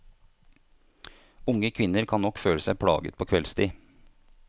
Unge kvinner kan nok føle seg plaget på kveldstid.